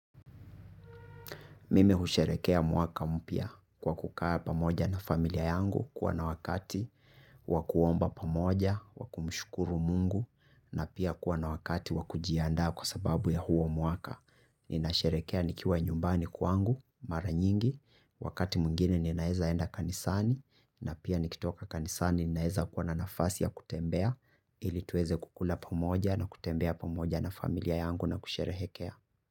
Mime husherekea mwaka mpia kwa kukaa pamoja na familia yangu kuwa na wakati, wakuomba pamoja, wakumushukuru mungu, na pia kwa na wakati wakujianda kwa sababu ya huo mwaka. Ninasherekea nikiwa nyumbani kwangu, mara nyingi, wakati mwingini ninaeza enda kanisani, na pia nikitoka kanisani ninaeza kwa na nafasi ya kutembea ili tuweze kukula pamoja na kutembea pamoja na familia yangu na kusherehekea.